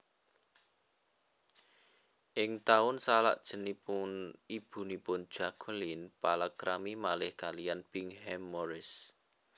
Ing taun salajengipun ibunipun Jacqueline palakrami malih kaliyan Bingham Morris